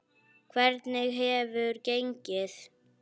Hvernig hefur gengið?